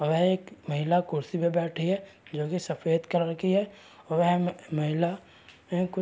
वहे एक महिला कुर्सी पे बैठी है जो की सफ़ेद कलर की है वहम महिला वह कुछ --